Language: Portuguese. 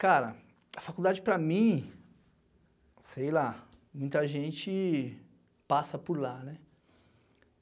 Cara, a faculdade para mim... Sei lá, muita gente passa por lá, né?